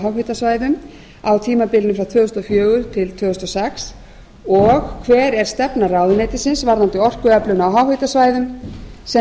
háhitasvæðum á tímabilinu tvö þúsund og fjögur til tvö þúsund og sex önnur hver er stefna ráðuneytisins varðandi orkuöflun á háhitasvæðum sem